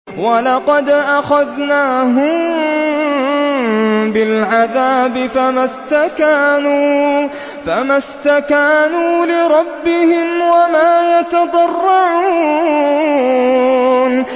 وَلَقَدْ أَخَذْنَاهُم بِالْعَذَابِ فَمَا اسْتَكَانُوا لِرَبِّهِمْ وَمَا يَتَضَرَّعُونَ